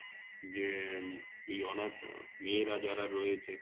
যে এই অনাথ মেয়েরা যারা রয়েছে